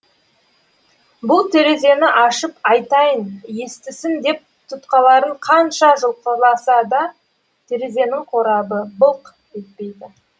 бұл терезені ашып айтайын естісін деп тұтқаларын қанша жұлқыласа да терезенің қорабы былқ етпейді